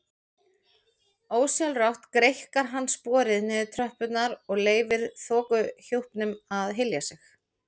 Ósjálfrátt greikkar hann sporið niður tröppurnar og leyfir þokuhjúpnum að hylja sig.